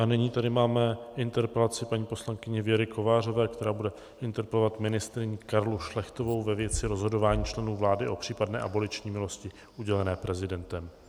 A nyní tady máme interpelaci paní poslankyně Věry Kovářové, která bude interpelovat ministryni Karlu Šlechtovou ve věci rozhodování členů vlády o případné aboliční milosti udělené prezidentem.